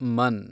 Mann